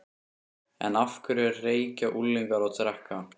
En af hverju reykja unglingar og drekka?